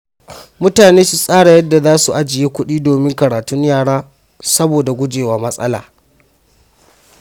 Mutane su tsara yadda za su ajiye kuɗi domin karatun yara saboda guje wa matsala.